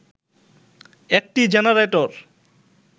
একটি জেনারেটর